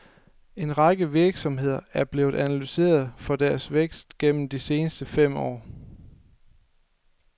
En række virksomheder er blevet analyseret for deres vækst gennem de seneste fem år.